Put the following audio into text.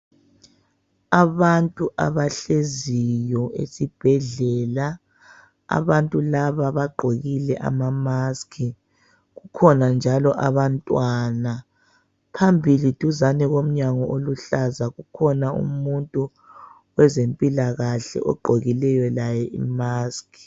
Abantu abahleziyo esibhedlela abantu laba bagqokile ama maskhi kukhona njalo abantwana. Phambili duzane komnyango oluhlaza kukhona umuntu wezempilakahle ogqokileyo laye imaskhi.